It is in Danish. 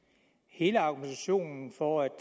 hele argumentationen for